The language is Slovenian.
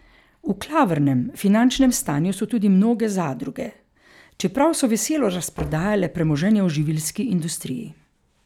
V klavrnem finančnem stanju so tudi mnoge zadruge, čeprav so veselo razprodajale premoženje v živilski industriji.